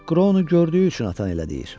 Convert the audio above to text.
Makronu gördüyü üçün atan elə deyir.